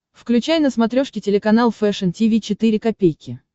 включай на смотрешке телеканал фэшн ти ви четыре ка